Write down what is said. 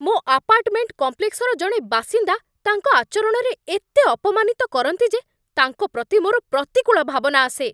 ମୋ ଆପାର୍ଟମେଣ୍ଟ କମ୍ପ୍ଲେକ୍ସର ଜଣେ ବାସିନ୍ଦା ତାଙ୍କ ଆଚରଣରେ ଏତେ ଅପମାନିତ କରନ୍ତି ଯେ ତାଙ୍କ ପ୍ରତି ମୋର ପ୍ରତିକୂଳ ଭାବନା ଆସେ।